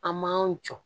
An m'an jɔ